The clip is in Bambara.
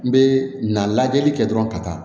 N bɛ na lajɛli kɛ dɔrɔn ka taa